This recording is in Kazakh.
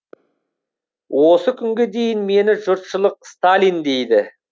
осы күнге дейін мені жұртшылық сталин дейді